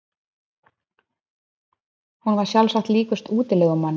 Hún var sjálfsagt líkust útilegumanni.